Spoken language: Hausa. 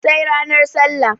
sai nranar sallah